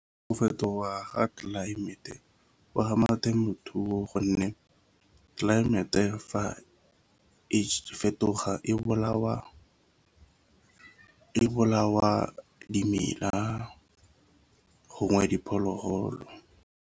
Go fetoga ga tlelaemete o ama temothuo gonne tlelaemete fa e fetoga e bolawa dimela gongwe diphologolo.